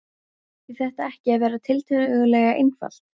Ætti þetta ekki að vera tiltölulega einfalt?